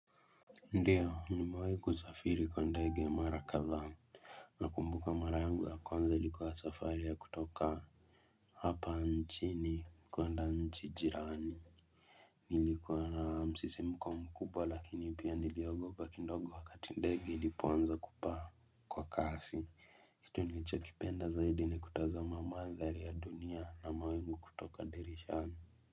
Ndiyo ni mawaiku zafiri kwa ndege marakadha na kumbuka mara yangu ya kwanza likuwa safari ya kutoka hapa nchini kuanda nchijirani nilikuwa na msisimu kwa mkubwa lakini pia niliogopa kindogo wakati ndege ilipoanza kupaa kwa kasi hitu nicho kipenda zaidi ni kutoza mamadhali ya dunia na maweku kutoka derishani.